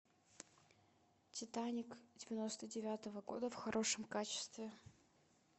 титаник девяносто девятого года в хорошем качестве